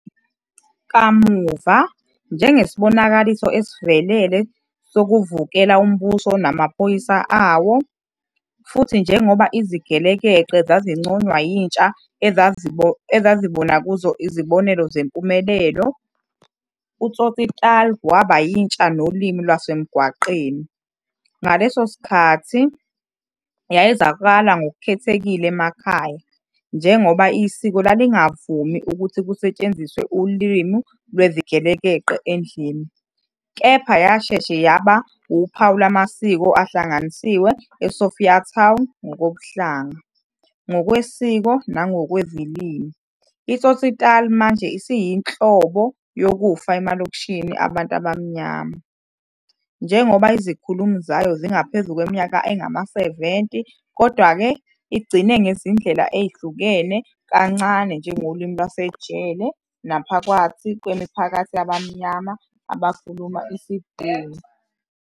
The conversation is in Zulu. Kamuva, njengesibonakaliso esivelele sokuvukela umbuso namaphoyisa awo, futhi njengoba izigelekeqe zazinconywa yintsha eyayizobona kuzo izibonelo zempumelelo, uTsotsitaal waba yintsha nolimi lwasemgwaqweni. Ngaleso sikhathi, yayizwakala ngokukhethekile emakhaya, njengoba isiko lalingavumi ukuthi kusetshenziswe ulimi lwezigelekeqe endlini. Kepha yasheshe yaba uphawu lwamasiko ahlanganisiwe eSophiatown ngokobuhlanga, ngokwesiko nangokwezilimi. ITsotsitaal manje isiyinhlobonhlobo yokufa emalokishini abantu abamnyama, njengoba izikhulumi zayo zingaphezulu kweminyaka engama-70. Kodwa-ke, igcine ngezindlela ezihluke kancane njengolimi lwasejele naphakathi kwemiphakathi yabamnyama abakhuluma isiBhunu.